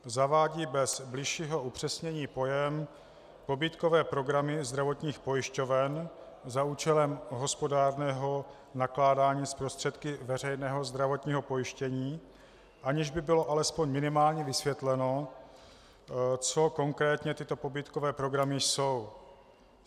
Zavádí bez bližšího upřesnění pojem pobídkové programy zdravotních pojišťoven za účelem hospodárného nakládání s prostředky veřejného zdravotního pojištění, aniž by bylo alespoň minimálně vysvětleno, co konkrétně tyto pobídkové programy jsou.